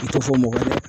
U tɛ fɔ mɔgɔ ye